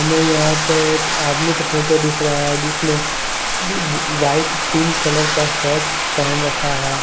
हमें यहां पे एक आदमी का फोटो दिख रहा है जिसने व्हाइट पिंक कलर का शर्ट पहन रखा है।